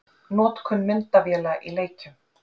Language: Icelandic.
Notkun myndavéla í leikjum?